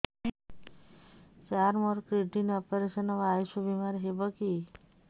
ସାର ମୋର kidney operation ହେବ ଆୟୁଷ ବିମାରେ ହେବ କି